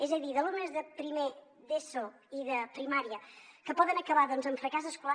és a dir d’alumnes de primer d’eso i de primària que poden acabar amb fracàs escolar